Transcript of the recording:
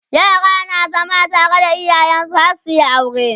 yara na zama tare da iyayensu har suyi aure